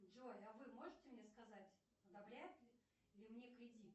джой а вы можете мне сказать одобряют ли мне кредит